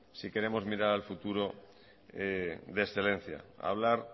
si queremos mirar al futuro de excelencia hablar